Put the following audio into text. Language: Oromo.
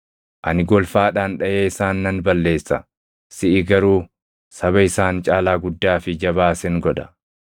Ani golfaadhaan dhaʼee isaan nan balleessa; siʼi garuu saba isaan caalaa guddaa fi jabaa sin godha.”